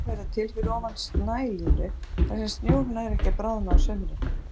Jöklarnir verða til fyrir ofan snælínu þar sem snjór nær ekki að bráðna á sumrin.